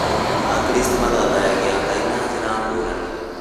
Akristo mathathayagia Ngai na njĩra ngũrani